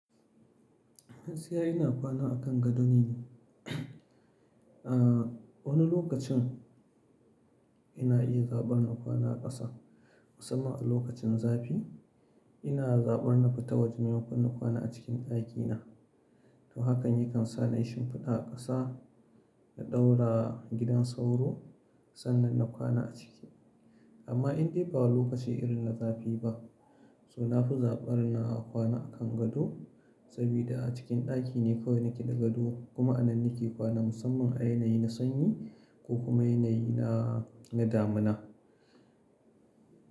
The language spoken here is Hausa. Gaskiya ina kwana akan gado ne. A wani lokacin ina iya zaɓar na kwana a ƙasa musamman a lokacin zafi. Ina zaɓar na fita wajen maimakon na kwana a cikin ɗakina. To hakan yakan sa na yi shimfiɗa a ƙasa na ɗaura gidan sauro sannan na kwana a ciki. Amma in dai ba lokaci irin na zafi ba, so na fi zaɓar na kwana akan gado saboda a cikin ɗaki ne kawai nake da gado kuma a nan nake kwana musamman a yanayi na sanyi ko kuma yanayi na, na damina.